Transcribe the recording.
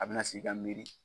A bɛna sigi ka miiri.